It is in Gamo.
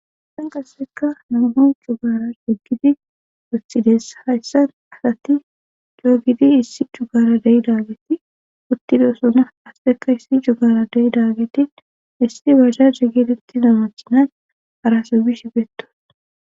Hayssan qasseka nam'u jugara diggidi utidessa hayssan asati joogidi issi jugara deyi daageti uttido sona asteka issi jugara dei daageti issi bazsha digiletti namachinan araso bish betton